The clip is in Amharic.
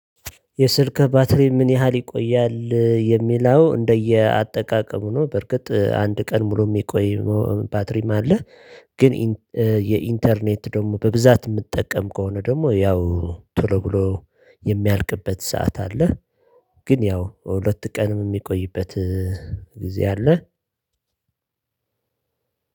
የስልክ ባትሪ ምን ያህል ይቆያል የሚለው እንደየአጠቃቀሙ ነው? በርግጥ አንድ ቀን ሙሉ የሚቆይ ባትሪም አለ። ግን የኢንተርኔት ደግሞ በብዛት የምጠቀም ከሆነ ደግሞ ያው ቶሎ ብሎ የሚያልቅበት ሰዓት አለ። ግን ያው ሁለት ቀንም የሚቆይበት ጊዜ አለ።